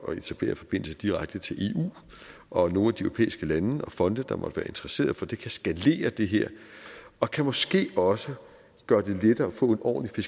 etablere forbindelse direkte til eu og nogle af de europæiske lande og fonde der måtte være interesseret for det kan skalere det her og kan måske også gøre det lettere at få en ordentlig